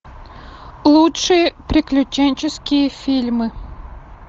лучшие приключенческие фильмы